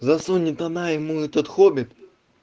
засунет она ему этот хоббит